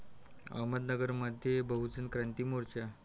अहमदनगरमध्ये बहुजन क्रांती मोर्चा